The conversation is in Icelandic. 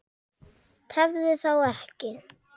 Tefðu þá ekki.